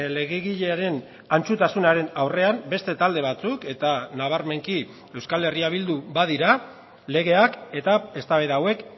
legegilearen antzutasunaren aurrean beste talde batzuk eta nabarmenki euskal herria bildu badira legeak eta eztabaida hauek